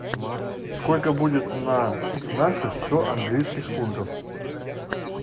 сколько будет на наши сто английских фунтов